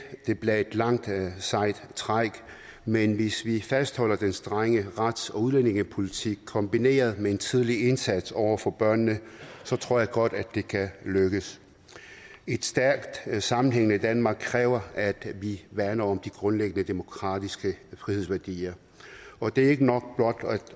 det bliver et langt sejt træk men hvis vi fastholder den strenge rets og udlændingepolitik kombineret med en tidlig indsats over for børnene så tror jeg godt at det kan lykkes et stærkt sammenhængende danmark kræver at vi værner om de grundlæggende demokratiske frihedsværdier og det er ikke nok blot at